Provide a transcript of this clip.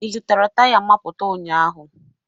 Ị zụtara taya mapụta ụnyaahụ?